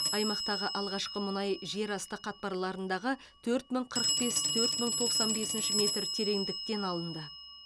аймақтағы алғашқы мұнай жерасты қатпарларындағы төрт мың қырық бес төрт мың тоқсан бесінші метр тереңдіктен алынды